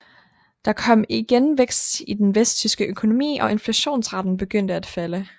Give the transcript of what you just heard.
Der kom igen vækst i den vesttyske økonomi og inflationsraten begyndte at falde